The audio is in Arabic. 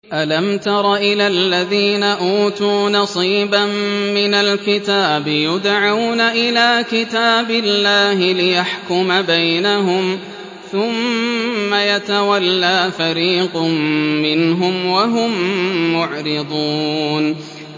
أَلَمْ تَرَ إِلَى الَّذِينَ أُوتُوا نَصِيبًا مِّنَ الْكِتَابِ يُدْعَوْنَ إِلَىٰ كِتَابِ اللَّهِ لِيَحْكُمَ بَيْنَهُمْ ثُمَّ يَتَوَلَّىٰ فَرِيقٌ مِّنْهُمْ وَهُم مُّعْرِضُونَ